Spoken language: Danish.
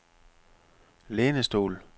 lænestol